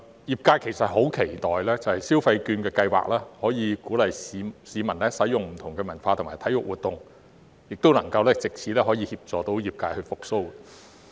業界其實很期待消費券的計劃可以鼓勵市民參與不同的文化和體育活動，亦希望能藉此協助業界復蘇。